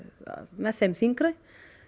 með þeim þyngri